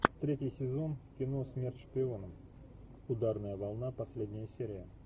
третий сезон кино смерть шпионам ударная волна последняя серия